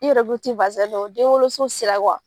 I yɛrɛ ko i ti don denwoloso sira